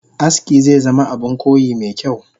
Aski zezama Abun koyi mekyau